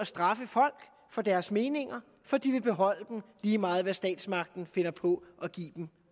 straffe folk for deres meninger for de vil beholde dem lige meget hvad statsmagten finder på at give dem